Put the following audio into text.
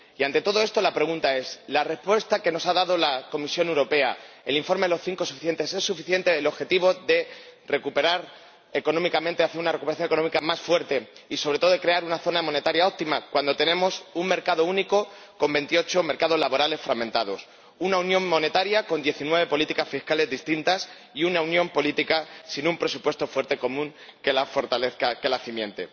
Y, ante todo esto, la pregunta es ¿la respuesta que nos ha dado la Comisión Europea —el informe de los cinco presidentes— es suficiente para lograr el objetivo de obtener una recuperación económica más fuerte y, sobre todo, de crear una zona monetaria óptima, cuando tenemos un mercado único con veintiocho mercados laborales fragmentados, una unión monetaria con diecinueve políticas fiscales distintas y una unión política sin un presupuesto fuerte común que la fortalezca, que la cimente?